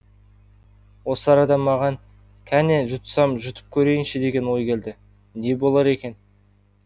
осы арада маған кәне жұтсам жұтып көрейінші деген ой келді не болар екен